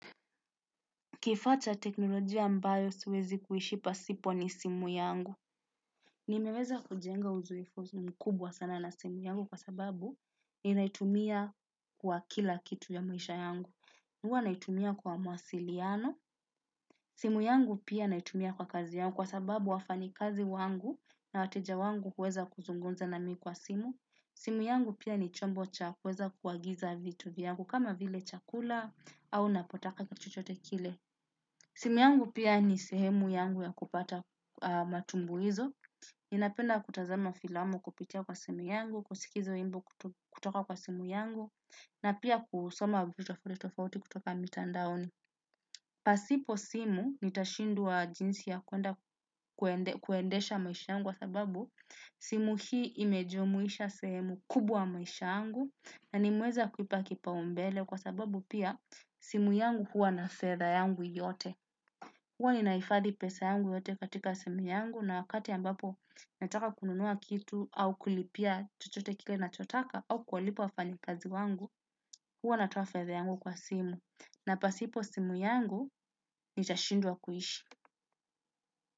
Kifata cha teknolojia ambayo siwezi kuishi pasipo ni simu yangu. Nimeweza kujenga uzoefu mkubwa sana na simu yangu kwa sababu ninaitumia kwa kila kitu ya maisha yangu. Huwa naitumia kwa mawasiliano. Simu yangu pia naitumia kwa kazi yangu kwa sababu wafanya kazi wangu na wateja wangu huweza kuzungumza nami kwa simu. Simu yangu pia ni chombo cha kuweza kuagiza vitu vyangu kama vile chakula au napotaka kitu chochote kile. Simu yangu pia ni sehemu yangu ya kupata matumbuhizo, ninapenda kutazama filamu kupitia kwa simu yangu, kusikiliza wimbo kutoka kwa simu yangu, na pia kusoma vitu tofauti tofauti kutoka mitandaoni. Pasipo simu nitashindwa jinsi ya kuendesha maisha yangu kwa sababu simu hii imejumuisha sehemu kubwa maisha yangu na nimeweza kuipa kipaumbele kwa sababu pia simu yangu huwa na fedha yangu yote. Huwa ninahifadhi pesa yangu yote katika simu yangu na wakati ambapo nataka kununua kitu au kulipia chochote kile nachotaka, au kuwalipa wafanyakazi wangu, huwa natoa fedha yangu kwa simu. Na pasipo simu yangu nitashindwa kuishi.